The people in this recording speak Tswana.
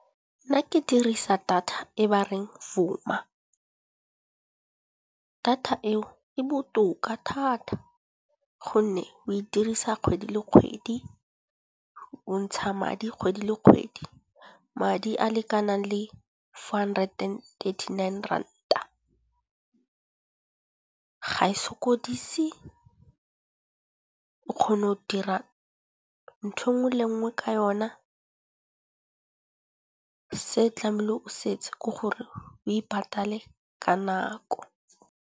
Nna ke dirisa data e ba reng Vuma. Data eo e botoka thata gonne o e dirisa kgwedi le kgwedi, o ntsha madi kgwedi le kgwedi. Madi a a lekanang le four hundred and thirty nine ranta. Ga e sokodise, o kgona go dira nthwe nngwe le nngwe ka yona, se tlameele o setse ke gore o ipatale ka nako.